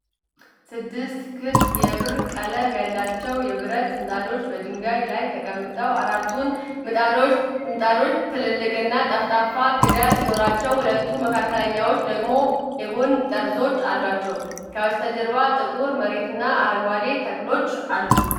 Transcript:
ስድስት ክብ የብር ቀለም ያላቸው የብረት ምጣዶች በድንጋይ ላይ ተቀምጠዋል። አራቱ ምጣዶች ትልቅና ጠፍጣፋ ክዳን ሲኖራቸው፣ ሁለት መካከለኛዎቹ ደግሞ የጎን ጠርዞች አሏቸው። ከበስተጀርባ ጥቁር መሬትና አረንጓዴ ተክሎች አሉ።